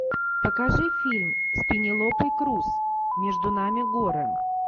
покажи фильм с пенелопой крус между нами горы